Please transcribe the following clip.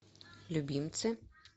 любимцы